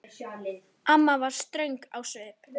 Amma var ströng á svip.